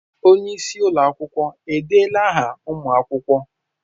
Onye isi ụlọ akwụkwọ edeela áhà ụmụ akwụkwọ?